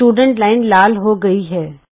ਵਿਦਿਆਰਥੀ ਲਾਈਨ ਲਾਲ ਹੋ ਗਈ ਹੈ